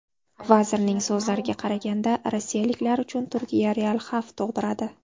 Vazirning so‘zlariga qaraganda, rossiyaliklar uchun Turkiya real xavf tug‘diradi.